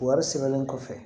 Wari sɛbɛnnen kɔfɛ